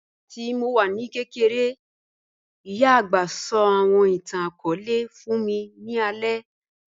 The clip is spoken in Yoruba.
Nígbàtí mó wà ní kẹ̀kẹ̀rẹ̀, ìyá agbá sọ̀ àwọn ìtàn-akọọlẹ̀ fún mí ní àlẹ̀